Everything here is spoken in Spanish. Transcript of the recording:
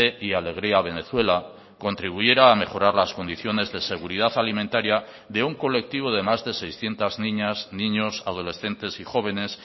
y alegría venezuela contribuyera a mejorar las condiciones de seguridad alimentaria de un colectivo de más de seiscientos niñas niños adolescentes y jóvenes